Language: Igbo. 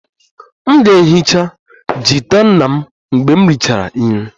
M ga-ehicha gita nna mgbe m richara nri